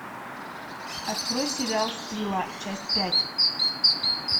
открой сериал стрела часть пять